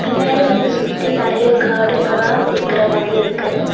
முன்னாடி வந்து சுத்தி நெறைய காடுங்களவா இருக்கற மாதி இருக்கு.